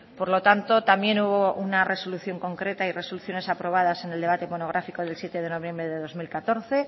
por lo tanto también hubo una resolución concreta y resoluciones aprobadas en el debate monográfico del siete de noviembre de dos mil catorce